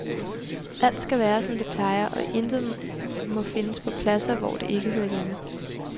Alt skal være, som det plejer, og intet må findes på pladser, hvor det ikke hører hjemme.